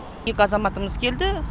екі азаматымыз келді